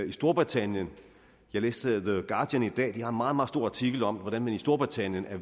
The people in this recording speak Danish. i storbritannien jeg læste the guardian i dag og meget meget stor artikel om hvordan man i storbritannien er